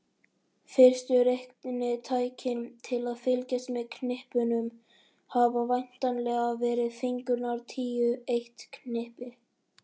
Fyrstu reiknitækin til að fylgjast með knippunum hafa væntanlega verið fingurnir tíu, eitt knippi.